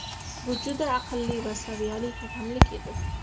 Bu juda aqlli va saviyali hakamlik edi.